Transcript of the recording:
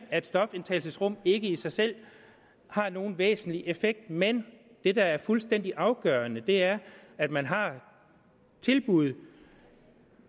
at stofindtagelsesrum ikke i sig selv har nogen væsentlig effekt men det der er fuldstændig afgørende er at man har tilbud